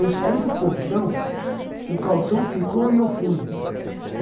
Eu saí do pontão, o calção ficou e eu fui